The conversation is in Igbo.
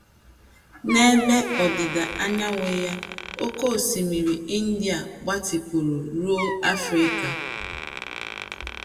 N’ebe ọdịda anyanwụ ya, Oké Osimiri India gbatịpụrụ ruo Africa.